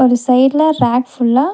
இந்த சைடுல ரேக் ஃபுல்லா .